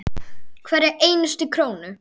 Hverja einustu krónu.